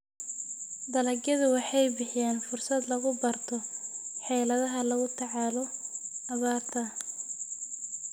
Dalagyadu waxay bixiyaan fursad lagu barto xeeladaha lagula tacaalayo abaarta.